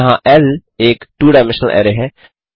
यहाँ ल एक टू डायमेंशनल अरै है